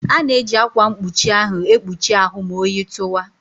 A na-eji ákwà mkpuchi ahụ ekpuchi ahụ ma oyi tụwa.